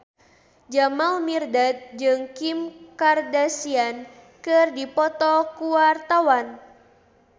Jamal Mirdad jeung Kim Kardashian keur dipoto ku wartawan